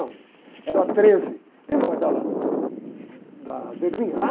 um. Era treze, lembra daquela, da zebrinha? Ah